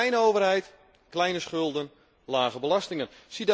Kleine overheid, kleine schulden, lage belastingen.